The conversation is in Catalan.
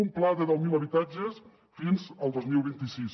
un pla de deu mil habitatges fins al dos mil vint sis